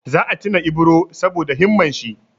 Za a tuna Ibro saboda himman shi.